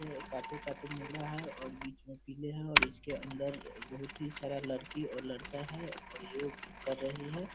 यह काते-काते नीला है और बीच में पीले हैं और इसके अंदर बहुत ही सारा लड़की और लड़का है और योग कर रहे हैं।